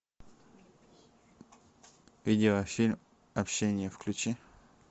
видеофильм общение включи